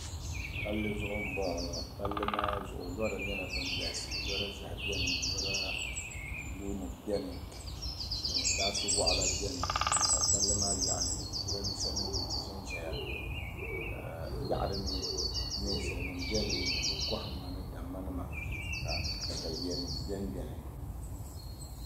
Palli zuɣu-bɔŋɔ ŋɔ palli maa zuɣu lɔra nyɛla ban ɡalisi lɔra ʒɛhi beni lɔra buluunima beni baasu wɔɣila beni ka palli maa yaɣili jirambiisanima ʒe n-ʒɛya ka yaɣili mi ninsalinima beni ni bɛ kɔhimma ni dammanima ka takayuyanima be m-beni